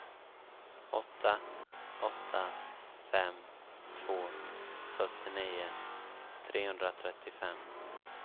åtta åtta fem två fyrtionio trehundratrettiofem